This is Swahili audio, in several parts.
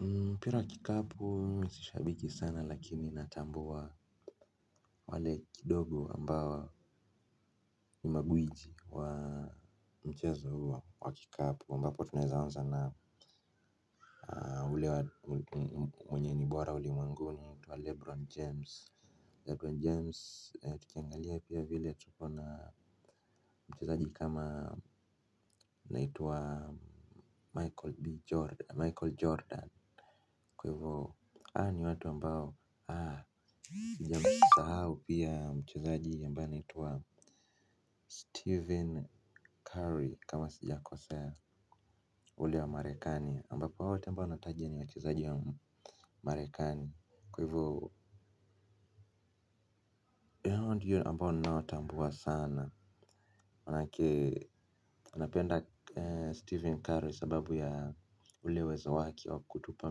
Mpira wa kikapu mimi si shabiki sana lakini natambua wale kidogo ambao ni magwiji wa mchezo wa kikapu ambapo tunazawanza na ule mwenye ni bora ulimwenguni Lebron James Lebron James tukiangalia pia vile tukona mchezaji kama naitwa michael Michael Jordan kwa hivo hawa ni watu ambao haa sija msahau pia mchezaji ambaye anaitwa Steven Curry kama sijakosea ule wa marekani ambapo hao wote ambao nataja ni wachezaji wa marekani kwa hivo ndio ambao ninao tambua sana maanake napenda Steven Curry sababu ya ule uwezo wake wa kutupa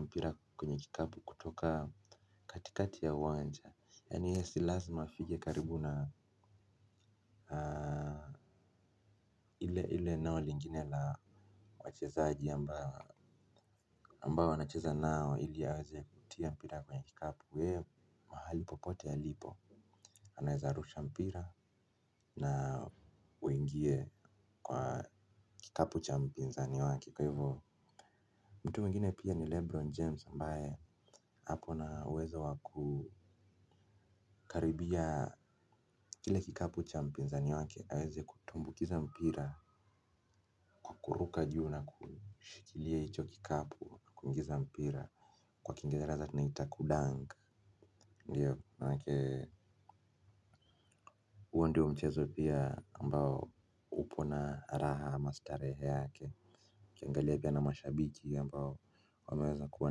mpira kwenye kikapu kutoka katikati ya uwanja yani yeye si lazima afike karibu na haaa. Ile eneo lingine la wachezaji ambao anacheza nao ili aweze kutia mpira kwenye kikapu yee mahali popote alipo anaweza rusha mpira na uingie kwa kikapu cha mpinzani wake kwa hivyo mtu mwingine pia ni Lebron James ambaye ako na uweza wa ku karibia kile kikapu cha mpinza niwake aweze kutumbukiza mpira kuruka juu na kushikilia hicho kikapu na kuingiza mpira kwa kingereza tunaita kudunk ndio maanake huo ndo mchezo pia ambao upo na raha ama starehe yake ukiangalia pia na mashabiki ambao wameweza kuwa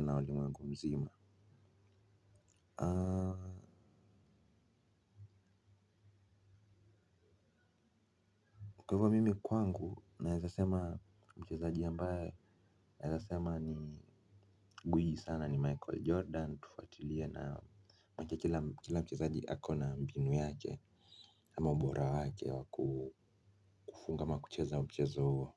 nao ulimwengu mzima kwangu naezasema mchezaji ambaye nawezasema ni gwiji sana ni Michael Jordan. Tufatilia na kila mchezaji ako na mbinu yake ama ubora yake wa kufunga ama kucheza mchezo huo.